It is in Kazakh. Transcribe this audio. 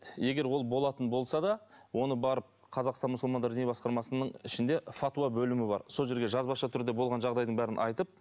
егер ол болатын болса да оны барып қазақстан мұсылмандар діни басқармасының ішінде фатуа бөлімі бар сол жерге жазбаша түрде болған жағдайдың бәрін айтып